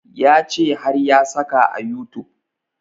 Ya ce har ya saka a youtube